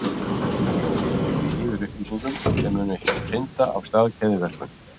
Hann býr því yfir upplýsingum sem munu hrinda af stað keðjuverkun.